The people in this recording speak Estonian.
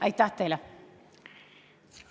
Aitäh teile!